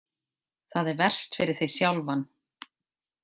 Það er verst fyrir þig sjálfan.